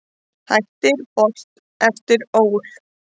Hættir Bolt eftir ÓL